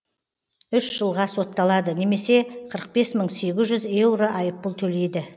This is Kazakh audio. үш жылға сотталады немесе қырық бес мың сегіз жүз еуро айыппұл төлейді